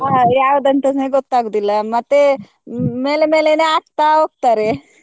ಹ ಯವಾದಂತನೆ ಗೊತ್ತಾಗುದಿಲ್ಲ ಮತ್ತೆ ಮೇಲೆ ಮೇಲೆನೇ ಹಾಕ್ತಾ ಹೋಗ್ತಾರೆ.